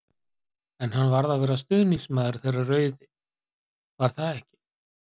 En hann varð að vera stuðningsmaður þeirra rauði, var það ekki?!